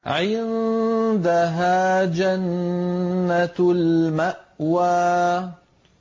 عِندَهَا جَنَّةُ الْمَأْوَىٰ